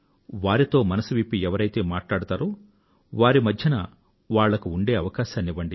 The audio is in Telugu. వారితో మనసు విప్పి ఎవరైతే మాట్లాడతారో వారి మధ్యన ఉండే అవకాశాన్ని వాళ్లకు ఇవ్వండి